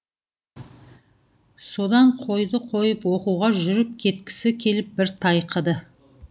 содан қойды қойып оқуға жүріп кеткісі келіп бір тайқыды